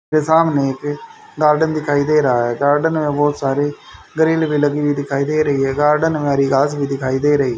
के सामने एक गार्डन दिखाई दे रहा है गार्डन में बहुत सारे गरील भी लगी हुई दिखाई दे रही है गार्डन में हरी घास भी दिखाई दे रही --